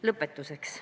Lõpetuseks.